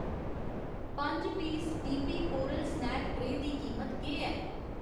पंज पीस डी पी कोरल स्नैक ट्रेऽ दी कीमत केह् ऐ ?